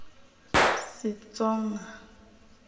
setsonga